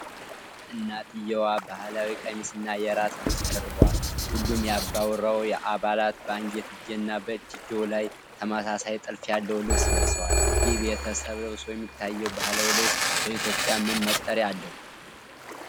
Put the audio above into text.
እናትየዋ ባህላዊ ቀሚስና የራስ ልብስ ደርበዋል፤ ሁሉም የአባወራው አባላት በአንገትጌና በእጅጌው ላይ ተመሳሳይ ጥልፍ ያለው ልብስ ለብሰዋል። ይህ ቤተሰብ ለብሶ የሚታየው ባህላዊ ልብስ በኢትዮጵያ ምን መጠሪያ አለው?